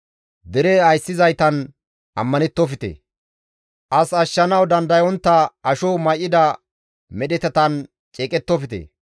Dere ayssizaytan ammanettofte; As ashshanawu dandayontta asho may7ida medhetatan ceeqettofte.